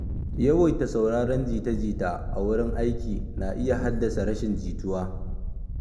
Yawaita sauraron jita-jita a wurin aiki na iya haddasa rashin jituwa.